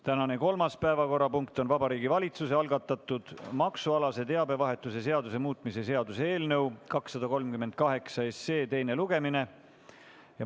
Tänane kolmas päevakorrapunkt on Vabariigi Valitsuse algatatud maksualase teabevahetuse seaduse muutmise seaduse eelnõu 238 teine lugemine.